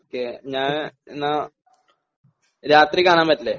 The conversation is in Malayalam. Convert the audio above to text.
ഓക്കേ ഞാൻ എന്നാ, രാത്രി കാണാൻ പറ്റില്ലേ?